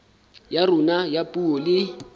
ya rona ya puo le